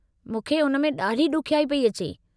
मूंखे उन में ॾाढी ॾुखियाई पई अचे